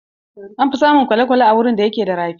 An fi samun kwale-kwale a wuraren da ke da rafi.